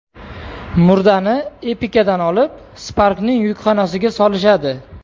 Murdani Epica’dan olib, Spark’ning yukxonasiga solishadi.